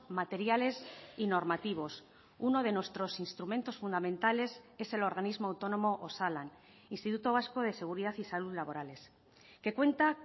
materiales y normativos uno de nuestros instrumentos fundamentales es el organismo autónomo osalan instituto vasco de seguridad y salud laborales que cuenta